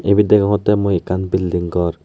ibet degongotte mui ekkan belding gor.